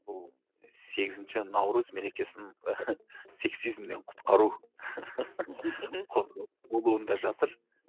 бұл сегізінші наурыз мерекесін сексизмнен құтқару болуында жатыр